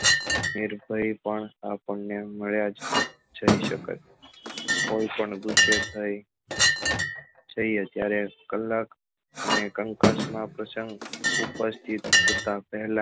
નીરપ્ય પણ આપણને મળ્યા છે કોઈ પણ ગુસ્સે થઇ જઈએ ત્યારે કલાક તમે કંકાસ માં પ્રસંગ ઉપસ્થિત થતા પહેલા